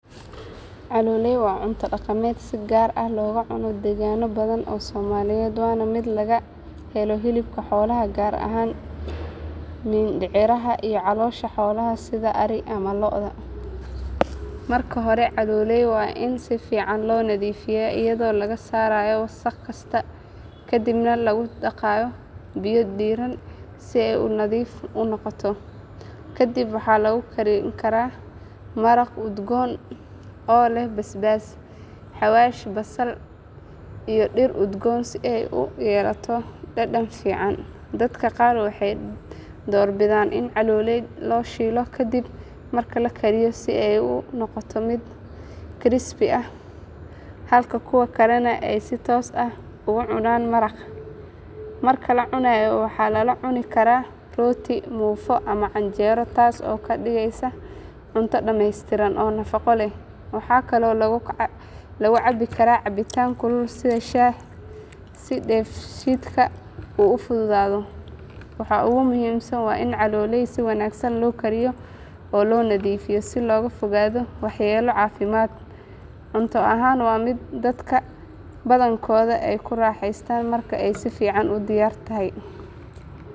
Caloolay waa cunto dhaqameed si gaar ah looga cuno deegaanno badan oo Soomaaliyeed waana mid laga helo hilibka xoolaha gaar ahaan mindhicirka iyo caloosha xoolaha sida ari ama lo'.Marka hore caloolay waa in si fiican loo nadiifiyaa iyadoo laga saarayo wasakh kasta kadibna lagu dhaqayaa biyo diirran si ay u nadiif noqoto. Kadib waxaa lagu karin karaa maraq udgoon oo leh basbaas, xawaash, basal iyo dhir udgoon si ay u yeelato dhadhan fiican. Dadka qaar waxay door bidaan in caloolay la shiilo kadib marka la kariyo si ay u noqoto mid crispy ah halka kuwa kalena ay si toos ah uga cunaan maraqa. Marka la cunayo waxaa lala cuni karaa rooti, muufo ama canjeero taas oo ka dhigaysa cunto dhameystiran oo nafaqo leh. Waxaa kaloo lagu cabbi karaa cabitaan kulul sida shaah si dheefshiidka uu u fududaado. Waxa ugu muhiimsan waa in caloolay si wanaagsan loo kariyo oo loo nadiifiyo si looga fogaado waxyeello caafimaad. Cunto ahaan waa mid dadka badankood ay ku raaxaystaan marka ay si fiican u diyaar tahay.